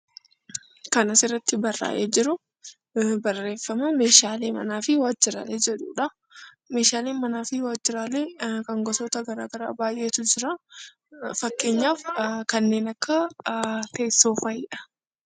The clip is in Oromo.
Kan asirratti barraa'ee jiru, meeshaa manaa fi waajiraalee jedhudha. Meeshaalee manaa fi waajiraaleen gosoota baayyeetu jiraa, kanneen akka teessoo fa'idha.